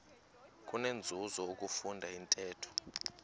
kunenzuzo ukufunda intetho